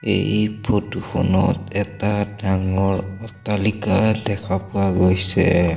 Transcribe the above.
এই ফটো খনত এটা ডাঙৰ অট্টালিকা দেখা পোৱা গৈছে।